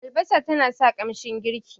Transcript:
albasa tana sa ƙanshin girki